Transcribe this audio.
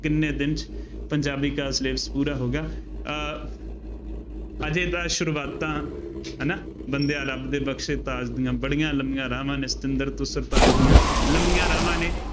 ਕਿੰਨੇ ਦਿਨ ਚ ਪੰਜਾਬੀ ਕਾ syllabus ਪੂਰਾ ਹੋਗਾ, ਅਹ ਹਜੇ ਤਾਂ ਸ਼ੁਰੂਆਤਾਂ ਹੈ ਨਾ, ਬੰਦਿਆਂ ਰੱਬ ਦੇ ਬਖਸ਼ੈ ਤਾਜ ਦੀਆਂ ਬੜੀਆ ਲੰਮੀਆਂ ਰਾਹਵਾਂ ਨੇ ਸਤਿੰਦਰ ਤੋਂ ਸਰਤਾਜ ਦੀਆਂ, ਲੰਮੀਆਂ ਰਾਹਵਾਂ ਨੇ